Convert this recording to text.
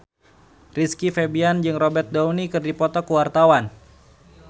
Rizky Febian jeung Robert Downey keur dipoto ku wartawan